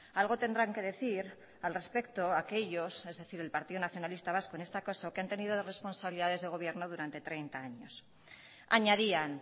algo tendrán que decir al respecto aquellos es decir el partido nacionalista vasco en este caso que han tenido responsabilidades de gobierno durante treinta años añadían